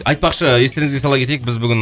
е айтпақшы естеріңізге сала кетейік біз бүгін